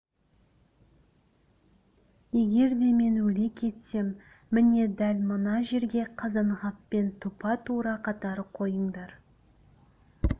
егер де мен өле кетсем міне дәл мына жерге қазанғаппен тұпа-тура қатар қойыңдар